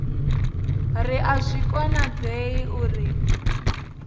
ri a zwi konadzei uri